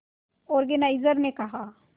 organiser ने कहा